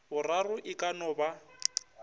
boraro e ka no ba